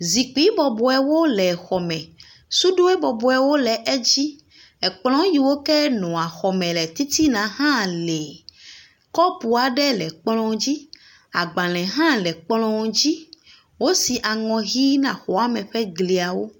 Zikpui bɔbɔbwo le xɔ me. Suɖu bɔbɔwo le edzi. Ekplɔ yiwo ke nɔa exɔme le titiana hã li. Kɔpu aɖe le kplɔ dzi. Agbale aɖe hã le kplɔa dzi. Wosi aŋɔ ʋi na exɔa me ƒe glia wo.